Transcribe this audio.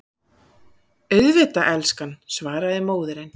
Auðvitað, elskan, svaraði móðirin.